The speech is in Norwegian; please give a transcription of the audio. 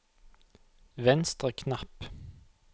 venstre knapp